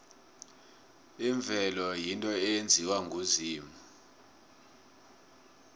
imvelo yinto eyenziwe nguzimu